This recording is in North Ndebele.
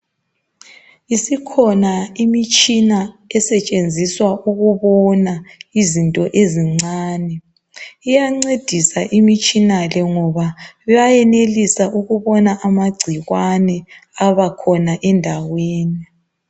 Isikhona imitshina esetshenziswa ukubona izinto ezincane, iyancedisa imitshina le ngoba bayanelisa ukubona amagcikwane abakhona endaweni.